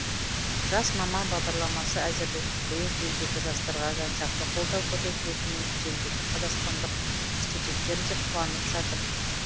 жас маман бағдарламасы әзірленіп биыл елдегі жастарға жан жақты қолдау көрсетілетініне шетелдегі қазақстандық студенттер де қуанып жатыр